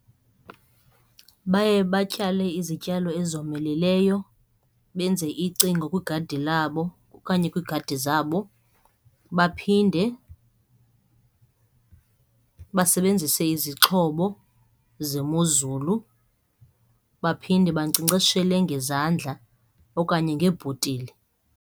Baye batyale izityalo ezomeleleyo, benze icingo kwigadi labo okanye kwiigadi zabo baphinde basebenzise izixhobo zemozulu baphinde bankcenkceshele ngezandla okanye ngeebhotile.